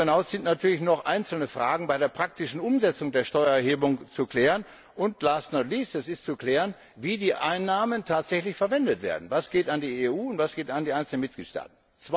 Darüber hinaus sind natürlich noch einzelne Fragen bei der praktischen Umsetzung der Steuererhebung zu klären und, last but not least wie die Einnahmen tatsächlich verwendet werden Was geht an die EU, und was geht an die einzelnen Mitgliedstaaten?